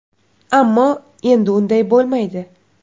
Ammo, endi unday bo‘lmaydi!